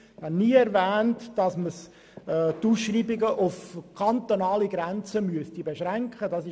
Ich habe nie erwähnt, dass die Ausschreibungen auf kantonale Grenzen beschränkt werden müssen.